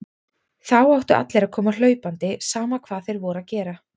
Þá áttu allir að koma hlaupandi, sama hvað þeir voru að gera.